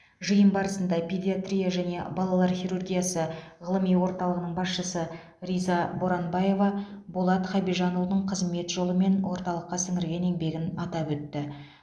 жиын барысында педиатрия және балалар хирургиясы ғылыми орталығының басшысы риза боранбаева болат хабижанұлының қызмет жолы мен орталыққа сіңірген еңбегін атап өтті